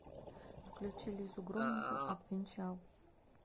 включи лизу громову обвенчал